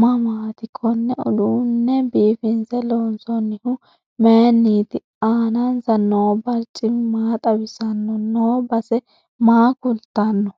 mamaati konne uduune biifinse loonsoonihu mayiiniti aanansa noo barcimi maa xawisanno noo base maa kulttanno